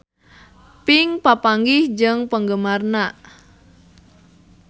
Pink papanggih jeung penggemarna